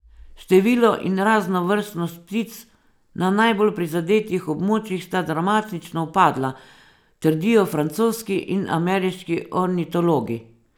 Število in raznovrstnost ptic na najbolj prizadetih območjih sta dramatično upadla, trdijo francoski in ameriški ornitologi.